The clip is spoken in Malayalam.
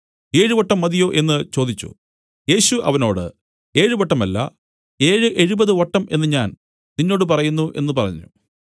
ഏഴുവട്ടം മതിയോ എന്നു ചോദിച്ചു യേശു അവനോട് ഏഴുവട്ടമല്ല ഏഴ് എഴുപത് വട്ടം എന്നു ഞാൻ നിന്നോട് പറയുന്നു എന്നു പറഞ്ഞു